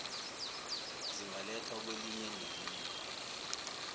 zingalethwa kwelinye nelinye